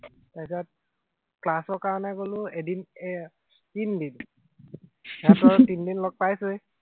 তাৰপিছত ক্লাচৰ কাৰনে গলো এদিন এৰ তিনদিন তইতো আৰু তিনিদিন লগ পাইছই